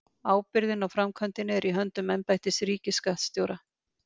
Ábyrgðin á framkvæmdinni er í höndum embættis ríkisskattstjóra.